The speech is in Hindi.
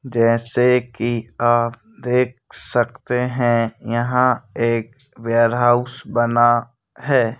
जैसे कि आप देख सकते हैं यहां एक वेयरहाउस बना है।